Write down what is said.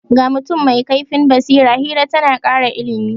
Ga mutum mai kaifin basira, hira ta na kara ilimi.